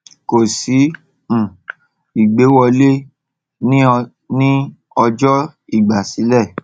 kò sí um ìgbéwọlé ní ní ọjọ ìgbàsílẹ